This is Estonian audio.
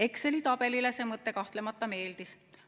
Exceli tabelile see mõte kahtlemata meeldis.